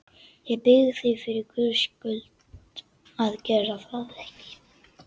Ég bið þig fyrir Guðs skuld að gera það ekki!